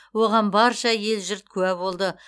оған барша ел жұрт куә болды